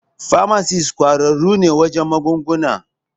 Famasis ƙwararru ne wajen magunguna.